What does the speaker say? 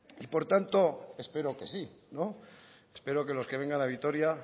y por tanto espero que sí espero que los que vengan a vitoria